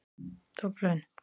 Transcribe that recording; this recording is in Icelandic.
Dublin